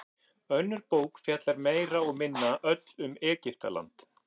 önnur bók fjallar meira og minna öll um egyptaland